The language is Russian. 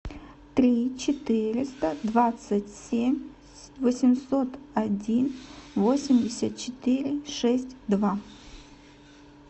три четыреста двадцать семь восемьсот один восемьдесят четыре шесть два